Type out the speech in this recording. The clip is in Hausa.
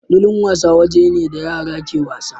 Filin wasa waje ne da yara ke wasa.